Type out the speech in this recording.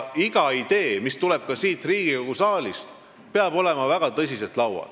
Iga idee, mis tuleb siit Riigikogu saalist, peab olema väga tõsiselt laual.